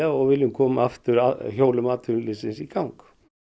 og viljum koma hjólum atvinnulífsins í gang